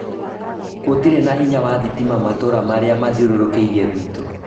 Gũtirĩ na hinya wa thitima matũra marĩa mathiũrũkĩirie gwitũ